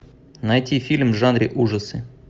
найти фильм в жанре ужасы